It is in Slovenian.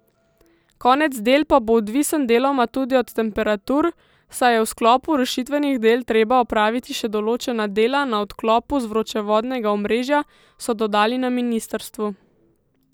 Konec del pa bo odvisen deloma tudi od temperatur, saj je v sklopu rušitvenih del treba opraviti še določena dela na odklopu z vročevodnega omrežja, so dodali na ministrstvu.